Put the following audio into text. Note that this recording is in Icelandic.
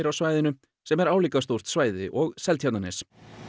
á svæðinu sem er álíka stórt svæði og Seltjarnarnes